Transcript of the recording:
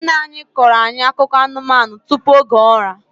Nne ya na-akọro ya akụkọ anụmanụ tupu oge ụra